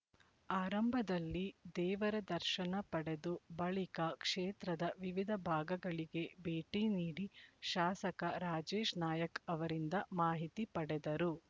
ಆರಂಭದಲ್ಲಿ ದೇವರ ದರ್ಶನ ಪಡೆದು ಬಳಿಕ ಕ್ಷೇತ್ರದ ವಿವಿಧ ಭಾಗಗಳಿಗೆ ಭೇಟಿ ನೀಡಿ ಶಾಸಕ ರಾಜೇಶ್ ನಾಯ್ಕ್ ಅವರಿಂದ ಮಾಹಿತಿ ಪಡೆದರು